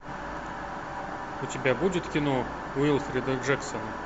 у тебя будет кино уилфрида джексона